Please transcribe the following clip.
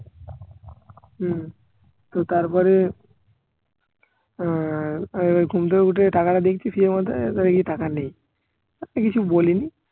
হম তো তারপরে আহ আমি আবার ঘুম থেকে উঠে টাকাটা দেখছি মধ্যে দেখছি টাকা নেই আর কিছু বলিনি